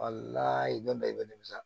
don bɛɛ i bɛ nimisa